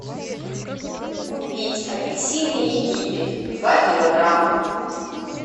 купить апельсины египет два килограмма